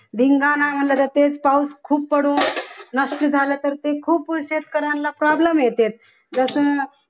धिंगाणा घालत असते तसेच पाऊस खूप पडून नसले झाले तर ते खूप शेतकऱ्यांना problem येते जस